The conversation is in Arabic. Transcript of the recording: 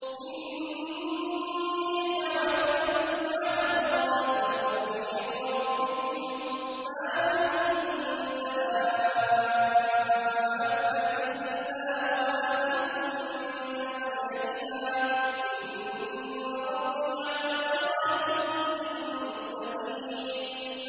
إِنِّي تَوَكَّلْتُ عَلَى اللَّهِ رَبِّي وَرَبِّكُم ۚ مَّا مِن دَابَّةٍ إِلَّا هُوَ آخِذٌ بِنَاصِيَتِهَا ۚ إِنَّ رَبِّي عَلَىٰ صِرَاطٍ مُّسْتَقِيمٍ